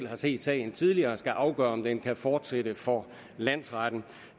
har set sagen tidligere skal afgøre om den kan fortsætte for landsretten